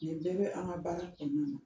Nin bɛɛ bɛ an ka baara kɔnɔna na